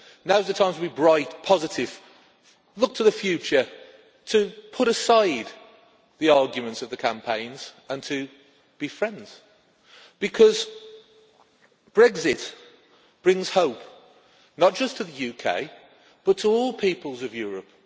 Now is the time to be bright and positive, to look to the future, to put aside the arguments of the campaigns and to be friends, because Brexit brings hope not just to the UK, but to all the peoples of Europe.